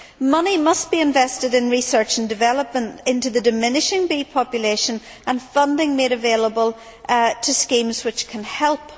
Money must be invested in research and development into the diminishing bee population and funding must be made available to schemes which can help.